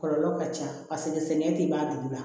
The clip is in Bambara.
Kɔlɔlɔ ka ca paseke sɛgɛn tɛ ban dugu la